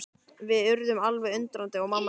Við urðum alveg undrandi og mamma sagði.